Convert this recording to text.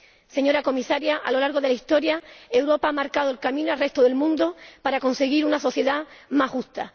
Señora Comisaria, a lo largo de la historia Europa ha marcado el camino al resto del mundo para conseguir una sociedad más justa.